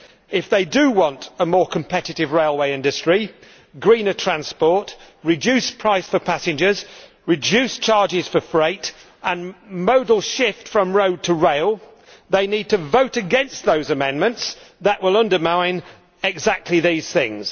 If they do want a more competitive railway industry, greener transport, reduced prices for passengers, reduced charges for freight and a modal shift from road to rail, they need to vote against those amendments that will undermine exactly these things.